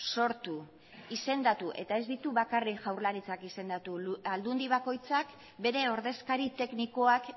sortu izendatu eta ez ditu bakarrik jaurlaritzak izendatu aldundi bakoitzak bere ordezkari teknikoak